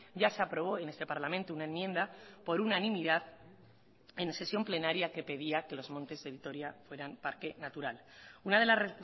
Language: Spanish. ya se aprobó en este parlamento una enmienda por unanimidad en sesión plenaria que pedía que los montes de vitoria fueran parque natural una de las